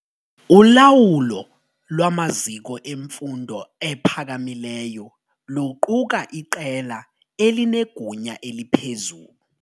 Ulawulo lwamaziko emfundo ephakamileyo luquka iqela elinegunya eliphezulu.